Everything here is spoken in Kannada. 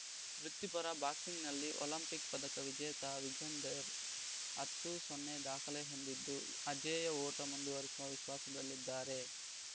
ವೃತ್ತಿಪರ ಬಾಕ್ಸಿಂಗ್‌ನಲ್ಲಿ ಒಲಿಂಪಿಕ್‌ ಪದಕ ವಿಜೇತ ವಿಜೇಂದರ್‌ ಹತ್ತು ಸೊನ್ನೆ ದಾಖಲೆ ಹೊಂದಿದ್ದು ಅಜೇಯ ಓಟ ಮುಂದುವರಿಸುವ ವಿಶ್ವಾಸದಲ್ಲಿದ್ದಾರೆ